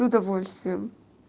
и удовольствием